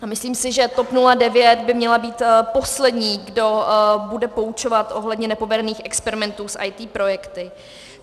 A myslím si, že TOP 09 by měla být poslední, kdo bude poučovat ohledně nepovedených experimentů s IT projekty.